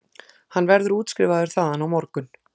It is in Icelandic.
Hann verður útskrifaður þaðan á morgun